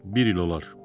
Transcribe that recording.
Bir il olar.